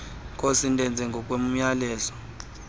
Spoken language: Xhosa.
nkosi ndenze ngokomyalelo